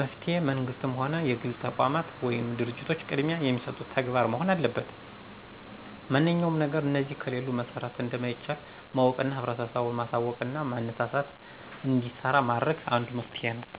መፍትሔ መንግስትም ሆነ የግል ተቋማት ወይም ድርጂቶች ቅድሚያ የሚሰጡት ተግባር መሆን አለበት ማንኛውም ነገር እነዚህ ከሌሉ መሠራት እንደማይቻል ማወቅና ህብረተሰቡን ማሳውቅና ማነሳሳትና እንዲሰራ ማድረግ አንዱ መፍትሔ ነው።